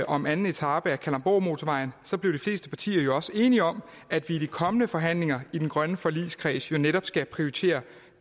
om anden etape af kalundborgmotorvejen blev de fleste partier jo også enige om at vi i de kommende forhandlinger i den grønne forligskreds netop skal prioritere